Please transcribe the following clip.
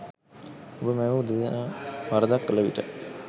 ඔබ මැවූ දෙදෙනා වරදක් කළ විට